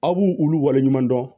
Aw b'u olu waleɲuman dɔn